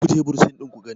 ku je bursin ɗin ku gani!